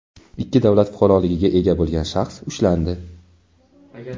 ikki davlat fuqaroligiga ega bo‘lgan shaxs ushlandi.